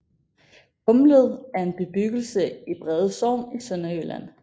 Kumled er en bebyggelse i Brede Sogn i Sønderjylland